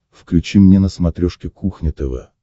включи мне на смотрешке кухня тв